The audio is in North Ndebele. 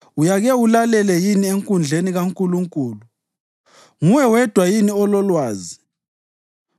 Uyake ulalele yini enkundleni kaNkulunkulu? Nguwe wedwa yini ololwazi?